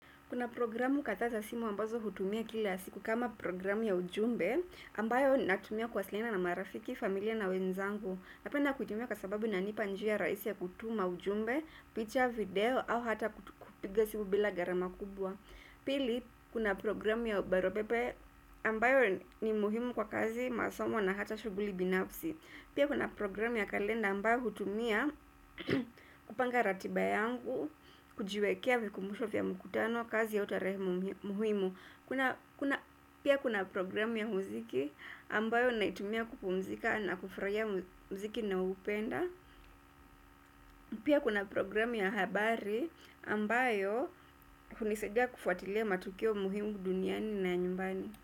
Kuna programu kadha za simu ambazo hutumia kila siku kama programu ya ujumbe ambayo natumia kuwasilina na marafiki familia na wenzangu. Napenda kutumia kwa sababu inanipa njia raisi ya kutuma ujumbe, picture, video au hata kupiga simu bila garama kubwa. Pili kuna programu ya baru pepe ambayo ni muhimu kwa kazi masomo na hata shughuli binafsi. Pia kuna program ya kalenda ambayo hutumia kupanga ratiba yangu, kujiwekea vikumbusho vya mkutano, kazi au tarehe muhimu. Pia kuna program ya mziki ambayo naitumia kupumzika na kufurahia mziki na upenda. Pia kuna program ya habari ambayo hunisadia kufuatilia matukio muhimu duniani na nyumbani.